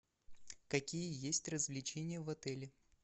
какие есть развлечения в отеле